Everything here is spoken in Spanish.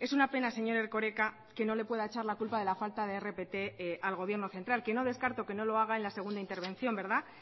es una pena señor erkoreka que no le pueda echar la culpa de la falta de rpt al gobierno central que no descarto que no lo haga en la segunda intervención verdad